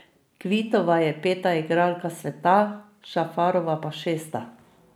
Kvitova je peta igralka sveta, Šafarova pa šesta.